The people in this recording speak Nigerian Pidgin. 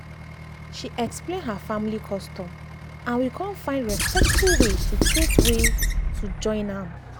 she explain her family custom and we con find respectful way to take way to take join am.